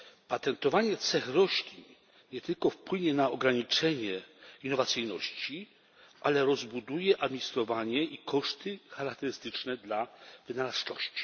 Patentowanie cech roślin nie tylko wpłynie na ograniczenie innowacyjności, ale rozbuduje administrowanie i koszty charakterystyczne dla wynalazczości.